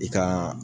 I ka